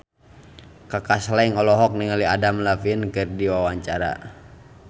Kaka Slank olohok ningali Adam Levine keur diwawancara